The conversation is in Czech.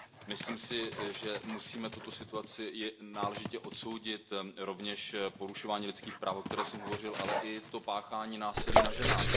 Myslím si, že musíme tuto situaci náležitě odsoudit, rovněž porušování lidských práv, o kterém jsem hovořil, ale i páchání násilí na ženách.